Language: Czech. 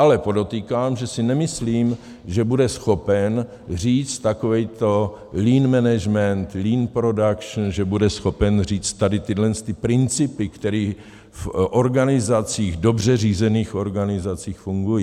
Ale podotýkám, že si nemyslím, že bude schopen říct takový lean management, lean production, že bude schopen říct tady tyhle principy, které v dobře řízených organizacích fungují.